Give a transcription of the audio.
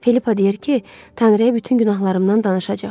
Filippa deyir ki, Tanrıya bütün günahlarımdan danışacaq.